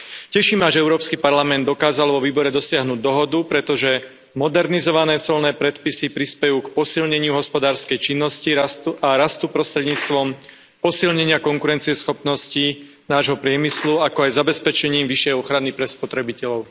Teší ma, že Európsky parlament dokázal vo výbore dosiahnuť dohodu, pretože modernizované colné predpisy prispejú k posilneniu hospodárskej činnosti a rastu prostredníctvom posilnenia konkurencieschopnosti nášho priemyslu, ako aj zabezpečením vyššej ochrany pre spotrebiteľov.